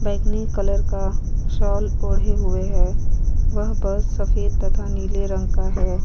Bike का colour साल ओढ़े हुए हैं। वह बस सफेद तथा नीले रंग का है।